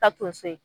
Ka tonso ye